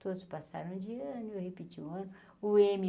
Todos passaram de ano e eu repetia um ano. o eme